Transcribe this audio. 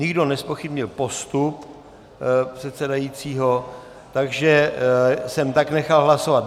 Nikdo nezpochybnil postup předsedajícího, takže jsem tak nechal hlasovat.